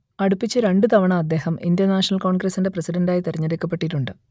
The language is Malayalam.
അടുപ്പിച്ച് രണ്ടു തവണ അദ്ദേഹം ഇന്ത്യ നാഷണൽ കോൺഗ്രസിന്റെ പ്രസിഡന്റായി തെരഞ്ഞെടുക്കപ്പെട്ടിട്ടുണ്ട്